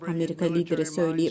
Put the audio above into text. Amerika lideri söyləyib.